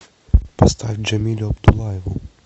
поставь джамилю абдуллаеву